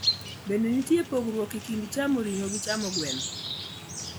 Bende nitiere pogruok e kind chamo ring`o gi chamo gweno.